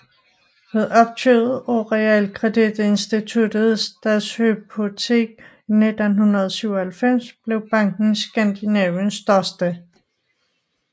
Ved opkøbet af realkreditinstituttet Stadshypotek i 1997 blev banken Skandinaviens største